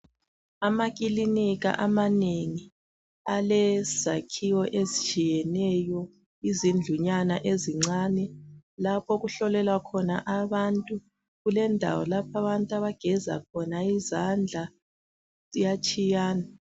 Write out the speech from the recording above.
Amakilinika amanengi alezakhiwo ezitshiyeneyo izindlunyana ezincane. Lapho okuhlolelwa khona abantu kulendawo lapha abantu abageza khona izandla, kuyatshiyana.